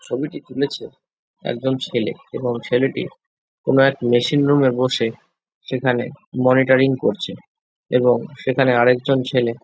ছবিটি তুলেছে একজন ছেলে এবং ছেলেটি কোনো এক মেশিন রুম এ বসে সেখানে মনিটরিং করছে এবং সেখানে আরেকজন ছেলে।